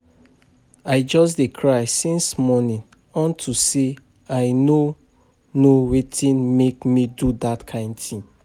I just dey cry since morning unto say I no know wetin make me do dat kin thing